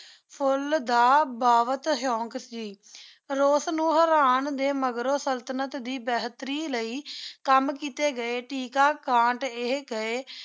ਫੁੱਲ ਦਾ ਬੁਹਤ ਸ਼ੋਂਕ ਸੀ। ਰੂਸ ਨੂ ਹਰਾਣ ਦੇ ਮਗਰੋ ਸੁਲ੍ਤ੍ਨਤ ਦੇ ਬੇਹਤਰੀ ਲਈ ਕੰਮ ਕੀਤੇ ਗਏ ਸੇ ਏਹੀ ਗਏ